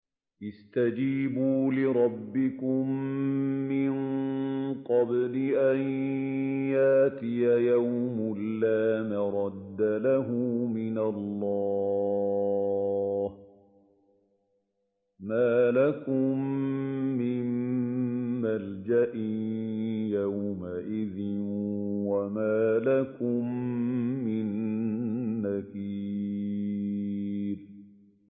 اسْتَجِيبُوا لِرَبِّكُم مِّن قَبْلِ أَن يَأْتِيَ يَوْمٌ لَّا مَرَدَّ لَهُ مِنَ اللَّهِ ۚ مَا لَكُم مِّن مَّلْجَإٍ يَوْمَئِذٍ وَمَا لَكُم مِّن نَّكِيرٍ